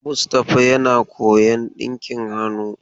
Mustapha yana koyon dinki hannu.